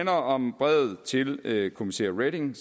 om brevet til kommissær reding